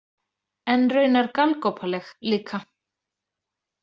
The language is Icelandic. En raunar galgopaleg líka.